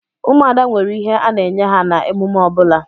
Ụmụada nwere ihe a na-enye ha na-emume ọbula.